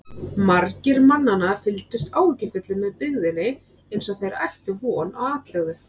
Margir mannanna fylgdust áhyggjufullir með byggðinni eins og þeir ættu von á atlögu.